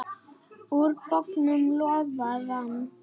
Úr bognum lófa rann.